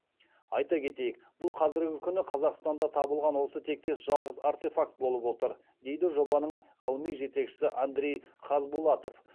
айта кетейік бұл қазіргі күні қазақстанда табылған осы тектес жалғыз артефакт болып отыр дейді жобаның ғылыми жетекшісі андрей хазбулатов